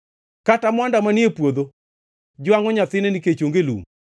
Kata mwanda manie puodho jwangʼo nyathine nikech onge lum.